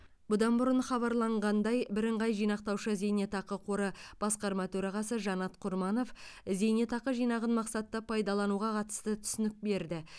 бұдан бұрын хабарланғандай бірыңғай жинақтаушы зейнетақы қоры басқарма төрағасы жанат құрманов зейнетақы жинағын мақсатты пайдалануға қатысты түсінік берді